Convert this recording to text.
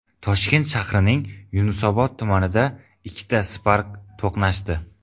Toshkent shahrining Yunusobod tumanida ikkita Spark to‘qnashdi.